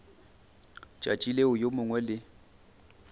tšatši leo yo mongwe le